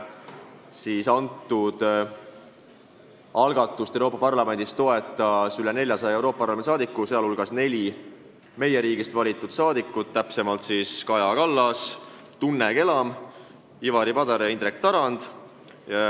Seda algatust toetas üle 400 Euroopa Parlamendi liikme, nende hulgas neli meie riigist valitud saadikut: Kaja Kallas, Tunne Kelam, Ivari Padar ja Indrek Tarand.